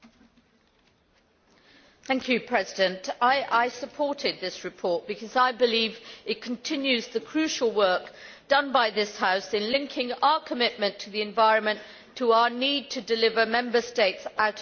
Mr President, I supported this report because I believe it continues the crucial work done by this House in linking our commitment to the environment to our need to deliver Member States out of the current financial crisis.